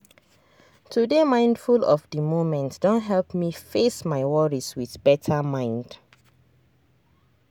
to dey mindful of the moment don help me face my worries with better mind.